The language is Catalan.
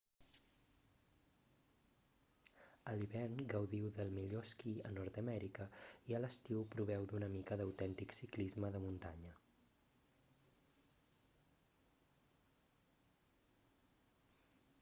a l'hivern gaudiu del millor esquí a nord-amèrica i a l'estiu proveu una mica d'autèntic ciclisme de muntanya